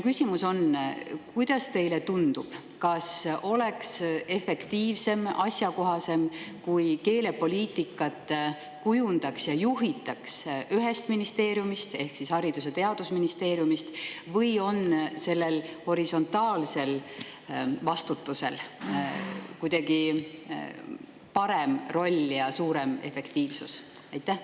Kuidas teile tundub, kas oleks efektiivsem ja asjakohasem, kui keelepoliitikat kujundataks ja juhitaks ühest ministeeriumist ehk Haridus‑ ja Teadusministeeriumist, või on sellel horisontaalsel vastutusel kuidagi parem roll ja suurem efektiivsus?